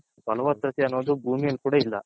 ಬಲವತದೆ ಅನ್ನೋದು ಬೂಮಿಯಲ್ಲಿ ಕೂಡ ಇಲ್ಲ .